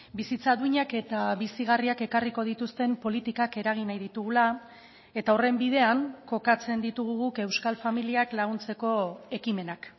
bizitza duinak eta bizigarriak ekarriko dituzten politikak eragin nahi ditugula eta horren bidean kokatzen ditugu guk euskal familiak laguntzeko ekimenak